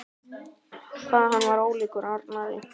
Hvað hann er ólíkur Arnari!